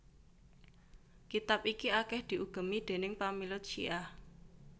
Kitab iki akèh diugemi déning pamilut Syiah